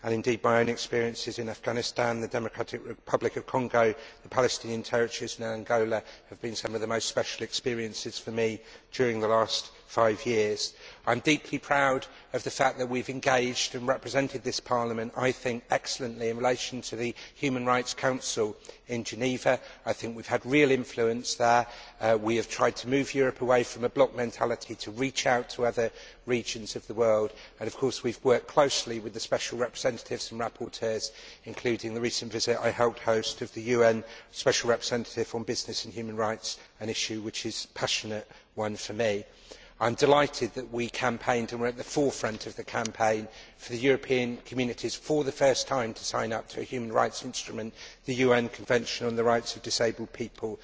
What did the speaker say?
Indeed my own experiences in Afghanistan, the Democratic Republic of the Congo, the Palestinian Territories and Angola have been some of the most special experiences for me during the last five years. I am deeply proud of the fact that we have engaged and represented this Parliament I think excellently in relation to the Human Rights Council in Geneva. I think we have had real influence there. We have tried to move Europe away from a block mentality to reach out to other regions of the world, and of course we have worked closely with the special representatives and rapporteurs, including the recent visit I helped host of the UN Special Representative on business and human rights, an issue which is a passionate one for me. I am delighted that we campaigned and were at the forefront of the campaign for the European Communities to sign up for the first time to a human rights instrument, the UN Convention on the Rights of Disabled People.